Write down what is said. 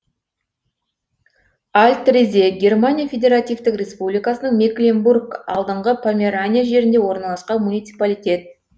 альт резе германия федеративтік республикасының мекленбург алдыңғы померания жерінде орналасқан муниципалитет